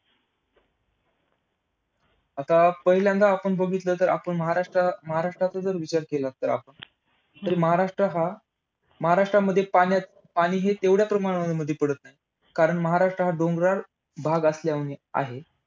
आता पहिल्यांदा आपण बघितलं तर, आपण महाराष्ट्राचा जर विचार केला. तर महाराष्ट्र हा महाराष्ट्रामध्ये पान~ पाणी हे तेवढ्या प्रमाणावर पडत नाही. कारण महाराष्ट्र हा डोंगराळ भाग असल्या~ आहे.